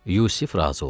Yusif razı oldu.